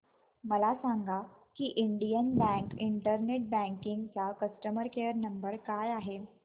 मला सांगा की इंडियन बँक इंटरनेट बँकिंग चा कस्टमर केयर नंबर काय आहे